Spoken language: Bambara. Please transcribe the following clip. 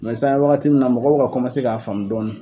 sisa an bɛ waagati min na mɔgɔ bɛ ka komase k'a faamu dɔɔni.